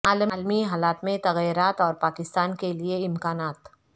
عالمی حالات میں تغیرات اور پاکستان کے لیے امکانات